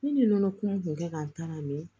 Ne ni nɔnɔ kun kɛ ka n ta la mɛ